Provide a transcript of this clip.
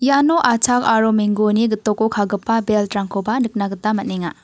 iano a·chak aro menggoni gitoko ka·gipa belt-rangkoba nikna gita man·enga.